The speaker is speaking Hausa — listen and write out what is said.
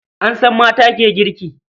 An san mata ke girki.